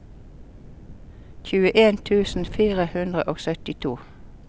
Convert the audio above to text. tjueen tusen fire hundre og syttito